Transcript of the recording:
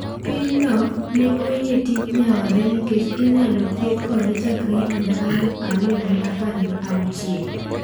Pinyno ne oyie tij nyaore nikech inyalo thieth kode chakre higa aluf ariyo gi apar gi auchiel.